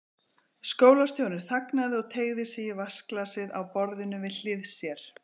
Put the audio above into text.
Skólastjórinn þagnaði og teygði sig í vatnsglasið á borðinu við hlið sér.